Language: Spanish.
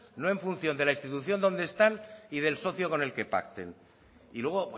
no en función de la institución donde están y del socio con el que pacten y luego